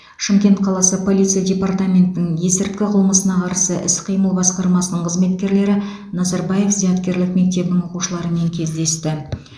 шымкент қаласы полиция департаментінің есірткі қылмысына қарсы іс қимыл басқармасының қызметкерлері назарбаев зияткерлік мектебінің оқушыларымен кездесті